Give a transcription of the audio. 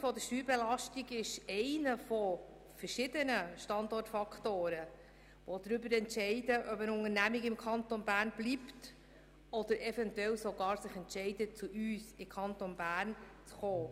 Die Höhe der Steuerbelastung ist einer von verschiedenen Standortfaktoren, die darüber entscheiden, ob eine Unternehmung im Kanton Bern bleibt oder sich gar entscheidet, zu uns in den Kanton Bern zu kommen.